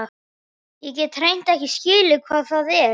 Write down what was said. Ég get hreint ekki skilið hvað það er.